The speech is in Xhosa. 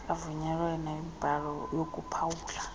avunyiweyo wemibhalo yokuphawula